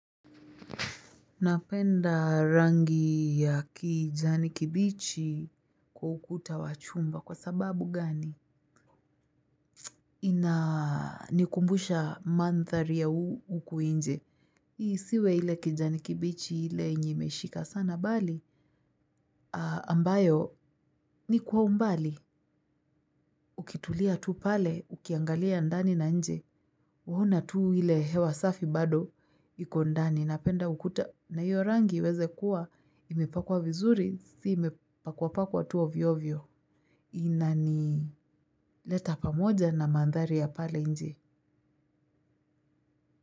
Napenda rangi ya kijani kibichi kwa ukuta wa chumba, kwa sababu gani? Inanikumbusha mandhari ya uku inje. Hii isiwe ile kijani kibichi ile yenye imeshika sana bali ambayo ni kwa umbali, ukitulia tu pale ukiangalia ndani na nje. Waona tu ile hewa safi bado iko ndani. Napenda ukuta na hiyo rangi iweze kuwa imepakwa vizuri si imepakwa pakwa tu ovyo ovyo. Inanileta pamoja na mandhari ya pale nje.